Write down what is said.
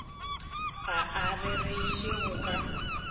ga o rereše go ka